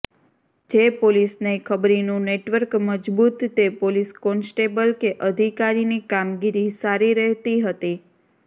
જે પોલીસને ખબરીનું નેટવર્ક મજબુત તે પોલીસ કોન્સ્ટેબલ કે અધિકારીની કામગીરી સારી રહેતી હતી